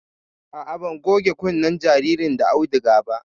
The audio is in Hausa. A'a, ban goge kunnen jaririn da auduga ba